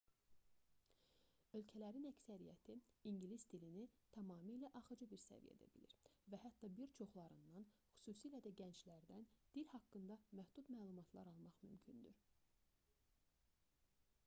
ölkələrin əksəriyyəti ingilis dilini tamamilə axıcı bir səviyyədə bilir və hətta bir çoxlarından xüsusilə də gənclərdən dil haqqında məhdud məlumatlar almaq mümkündür